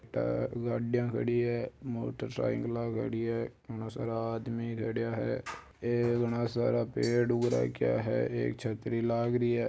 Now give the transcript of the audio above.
अ गाड़िया खड़ी है मोटर साइकल अ खड़ी है घना सारा आदमी खडिया है ऐ घना सारा पेड़ उग राखिया है एक छत्री लागरी है।